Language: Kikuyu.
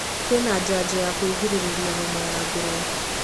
Kwĩna njanjo ya kwĩrigĩrĩria homa ya ngũrwe.